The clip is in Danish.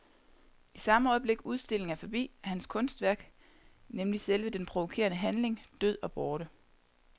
I samme øjeblik udstillingen er forbi, er hans kunstværk, nemlig selve den provokerende handling, død og borte.